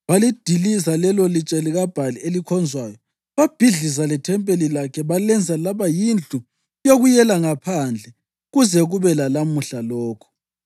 Balidiliza lelolitshe likaBhali elikhonzwayo babhidliza lethempeli lakhe, balenza laba yindlu yokuyela ngaphandle kuze kube lalamuhla lokhu.